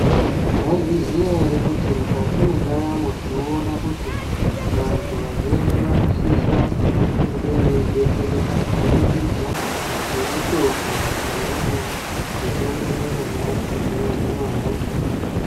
Maizviziva ere kuti mukati mendaramo tinoona kuti vantu vazhinji vanosisa kunge veidetsereka kuburikidza ngemitombo iriyo mitombo yanyamashi inohina hosha.